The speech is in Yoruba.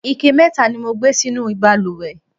ike mẹta ni mo gbé sínú ìbalùwẹ̀